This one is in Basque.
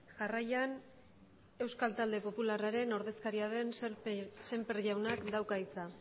jarraian euskal talde popularraren ordezkaria den semper jaunak dauka hitza